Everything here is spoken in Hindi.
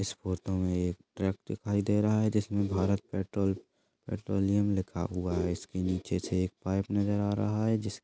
इस फोटो मे एक ट्रक दिखाई दे रहा है जिसमे भारत पेट्रोल पेट्रोलियम लिखा हुआ है इसके नीचे से एक पाइप नजर आ रहा है जिस--